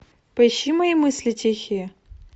поищи мои мысли тихие